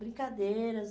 Brincadeiras...